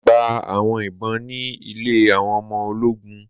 Mo gba awọn ìbọn ni ilẹ̀ awọn ọmọ oló̩gùn